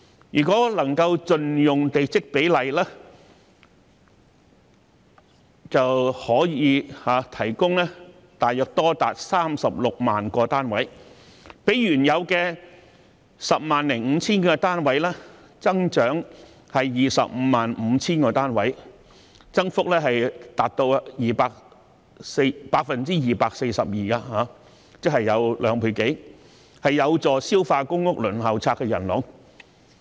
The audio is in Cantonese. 如果能夠盡用地積比率，就可以提供大約多達 360,000 個單位，較原有的 105,000 個單位增加 255,000 個單位，增幅達 242%， 即是兩倍有多，有助消化公屋輪候冊的人龍。